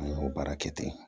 An y'o baara kɛ ten